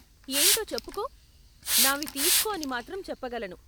ఏంటో చెప్పుకో! నావి తీస్కో అని మాత్రం చెప్పగలను.